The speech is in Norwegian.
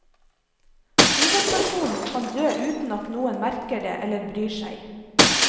Hovedpersonen kan dø uten at noen merker det eller bryr seg.